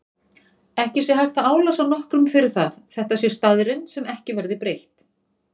Ekki sé hægt að álasa nokkrum fyrir það, þetta sé staðreynd sem ekki verði breytt.